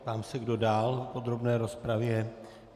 Ptám se, kdo dál v podrobné rozpravě.